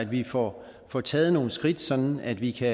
vi får får taget nogle skridt sådan at vi kan